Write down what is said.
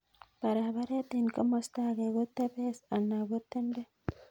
Paraparet en komosta age ko tepes ana ko tenden